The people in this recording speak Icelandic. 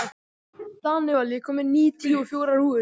Danival, ég kom með níutíu og fjórar húfur!